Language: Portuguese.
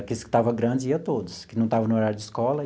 Aqueles que estavam grandes iam todos, que não estavam no horário de escola.